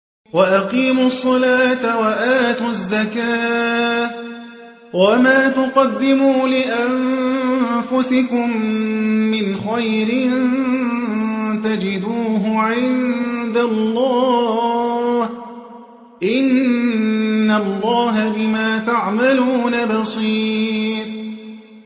وَأَقِيمُوا الصَّلَاةَ وَآتُوا الزَّكَاةَ ۚ وَمَا تُقَدِّمُوا لِأَنفُسِكُم مِّنْ خَيْرٍ تَجِدُوهُ عِندَ اللَّهِ ۗ إِنَّ اللَّهَ بِمَا تَعْمَلُونَ بَصِيرٌ